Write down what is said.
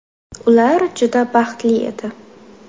Ular juda baxtli edi.